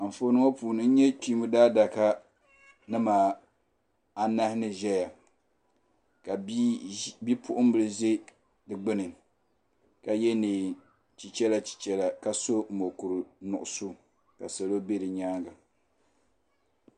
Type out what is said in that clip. Anfooni ŋɔ puuni n nya Kpiinba daadaka nima anahi ni ʒɛya ka bi'puɣinbila za di gbini ka ye niɛn'chichela chichela ka so mokuru nuɣuso ka salo be di nyaanga.